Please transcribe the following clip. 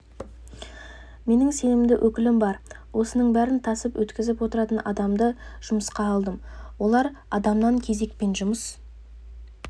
менің сенімді өкілім бар осының бәрін тасып өткізіп отыратын адамды жұмысқа алдым олар адамнан кезекпен жұмыс